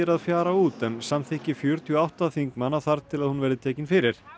að fjara út en samþykki fjörutíu og átta þingmanna þarf til að hún verði tekin fyrir